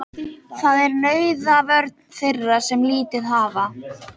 Það er nauðvörn þeirra sem lítið hafa.